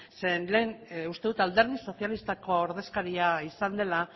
zeren lehen uste dut alderdi sozialistako ordezkaria izan dela